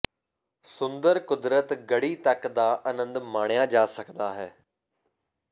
ਸੁੰਦਰ ਕੁਦਰਤ ਗੜ੍ਹੀ ਤੱਕ ਦਾ ਆਨੰਦ ਮਾਣਿਆ ਜਾ ਸਕਦਾ ਹੈ